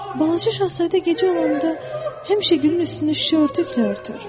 Balaca Şahzadə gecə olanda həmişə gülün üstünü şüşə örtüklə örtər.